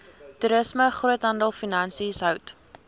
toerisme groothandelfinansies hout